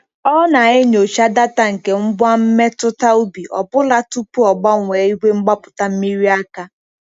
Ọ na-enyocha data nke ngwa mmetụta ubi ọ bụla tupu ọ gbanwee igwe mgbapụta mmiri aka.